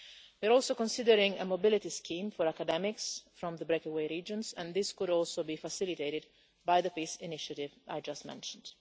We are also considering a mobility scheme for academics from the breakaway regions, and this could also be facilitated by the peace initiative I just mentioned.